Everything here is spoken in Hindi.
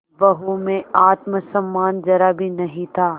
बहू में आत्म सम्मान जरा भी नहीं था